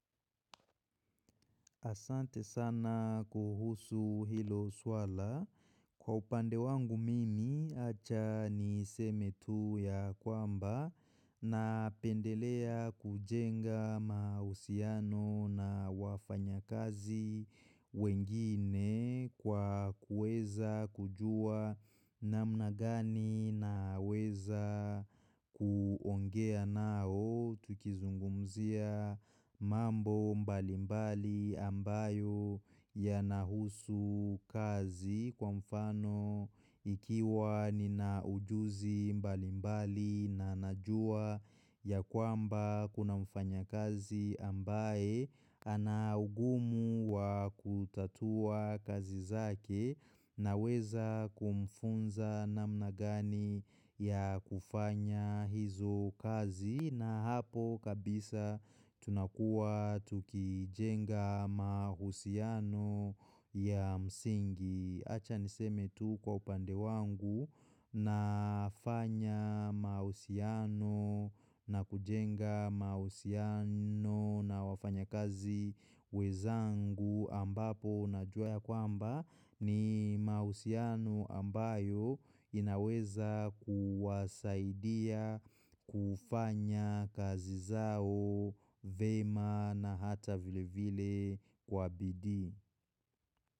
Asante sana kuhusu hilo swala. Kwa upande wangu mimi, acha niseme tu ya kwamba napendelea kujenga mahusiano na wafanyakazi wengine kwa kueza kujua namna gani naweza kuongea nao tukizungumzia mambo mbali mbali ambayo yanahusu kazi kwa mfano ikiwa nina ujuzi mbali mbali na najua ya kwamba Kuna mfanyakazi ambaye ana ugumu wa kutatua kazi zake naweza kumfunza namna gani ya kufanya hizo kazi na hapo kabisa tunakua tukijenga mahusiano ya msingi. Acha niseme tu kwa upande wangu na fanya mausiano na kujenga mausiano na wafanyakazi wezangu ambapo najua ya kwamba ni mausiano ambayo inaweza kuwasaidia kufanya kazi zao vema na hata vile vile kwa bidii.